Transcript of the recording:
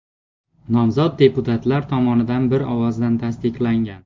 Nomzod deputatlar tomonidan bir ovozdan tasdiqlangan.